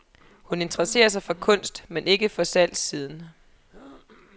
Hun interesserer sig for kunst, men ikke for salgssiden.